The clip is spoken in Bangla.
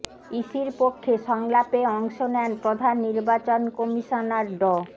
ইসির পক্ষে সংলাপে অংশ নেন প্রধান নির্বাচন কমিশনার ড